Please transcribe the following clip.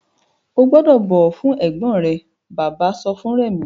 O gbúdọ̀ bọ̀wọ̀ fún ẹ̀gbọ́n rẹ! Bàbá sọ fún Rẹ̀mí.